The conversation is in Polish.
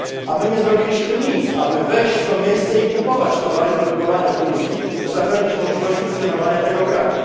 My nie zrobiliśmy nic, aby wejść w to miejsce i kupować towary produkowane w Gruzji, by zapewnić możliwość funkcjonowania tego kraju.